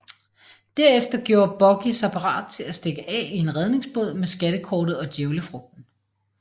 Derefter gjorde Buggy sig parat til at stikke af i en redningsbåd med skattekortet og djævlefrugten